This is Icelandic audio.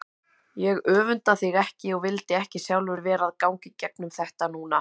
Ég öfunda þig ekki og vildi ekki sjálfur vera að ganga í gegnum þetta núna.